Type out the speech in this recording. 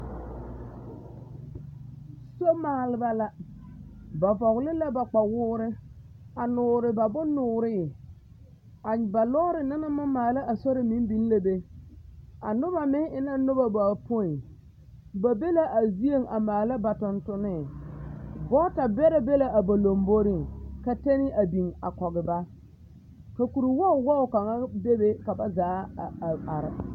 Somaalba la, ba vɔgele la ba kpawoore a noore ba bonnooree, a ba lɔɔre na naŋ maŋ maala a sori meŋ biŋ la be, a noba meŋ e la noba bapoi, ba be la a zieŋ a maala ba tontonee, gɔɔta bɛrɛ be la a ba lomboriŋ ka tɛne a biŋ a kɔge ba ka kuri wɔge wɔge kaŋa bebe ka ba zaa a are.